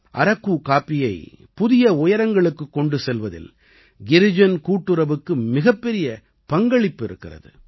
அரக்கு காப்பியை புதிய உயரங்களுக்குக் கொண்டு செல்வதில் கிரிஜன் கூட்டுறவுக்கு மிகப்பெரிய பங்களிப்பு இருக்கிறது